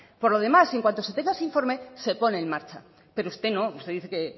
por lo demás y en cuanto se tenga ese informe se pone en marcha pero usted no usted dice que